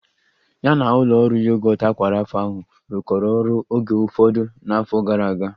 Ya na ụlọ ọrụ yogọt aqua Rapha ahụ rụkọrọ ọrụ oge ụfọdụ n'afọ gara aga